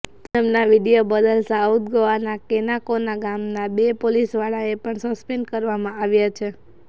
પૂનમના વીડિયો બદલ સાઉથ ગોવાના કેનાકોના ગામના બે પોલીસવાળાને પણ સસ્પેન્ડ કરવામાં આવ્યા છે